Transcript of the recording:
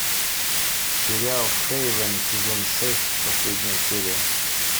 сериал хейвен сезон шесть последняя серия